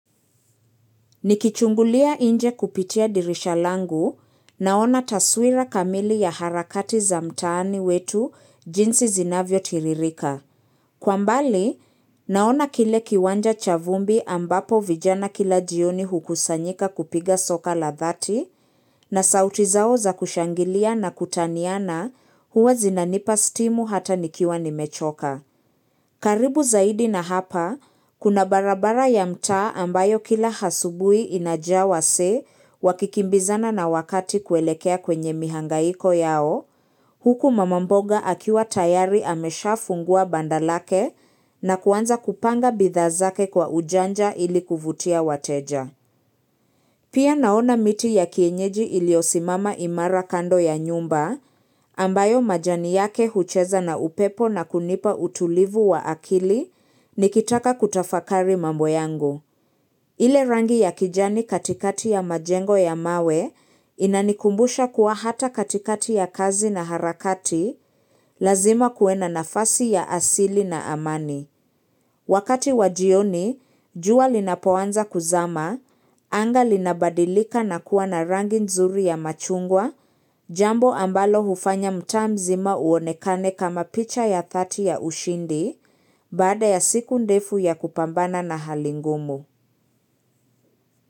Nikichungulia nje kupitia dirisha langu naona taswira kamili ya harakati za mtaani wetu jinsi zinavyo tiririka. Kwa mbali, naona kile kiwanja cha vumbi ambapo vijana kila jioni hukusanyika kupiga soka la dhati na sauti zao za kushangilia na kutaniana huwa zinanipa stimu hata nikiwa ni mechoka. Karibu zaidi na hapa, kuna barabara ya mtaa ambayo kila asubuhi inajaa wasee wakikimbizana na wakati kuelekea kwenye mihangaiko yao, huku mamamboga akiwa tayari amesha fungua bandalake na kuanza kupanga bidhaa zake kwa ujanja ili kuvutia wateja. Pia naona miti ya kienyeji iliyosimama imara kando ya nyumba ambayo majani yake hucheza na upepo na kunipa utulivu wa akili nikitaka kutafakari mambo yangu. Ile rangi ya kijani katikati ya majengo ya mawe inanikumbusha kuwa hata katikati ya kazi na harakati lazima kuwe na nafasi ya asili na amani. Wakati wajioni, jua linapoanza kuzama, anga linabadilika na kuwa na rangi nzuri ya machungwa, jambo ambalo hufanya mtaa mzima uonekane kama picha ya dhati ya ushindi, baada ya siku ndefu ya kupambana na hali ngumu.